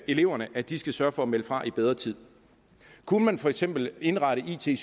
eleverne at de skal sørge for at melde fra i bedre tid kunne man for eksempel indrette it